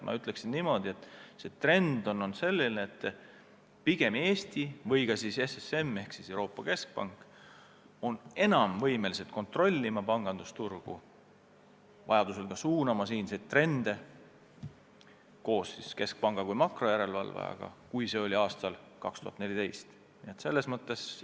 Ma ütleksin niimoodi, et trend on olnud selline, et Eesti ning ka SSM ehk siis Euroopa Keskpanga järelevalve on enam võimelised pangandusturgu kontrollima ja vajadusel ka siinseid trende koos keskpanga kui makrojärelevalvajaga suunama, kui see oli aastal 2014.